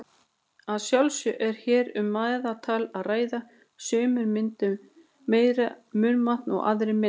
Að sjálfsögðu er hér um meðaltal að ræða, sumir mynda meira munnvatn og aðrir minna.